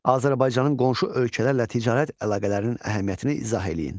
Azərbaycanın qonşu ölkələrlə ticarət əlaqələrinin əhəmiyyətini izah eləyin.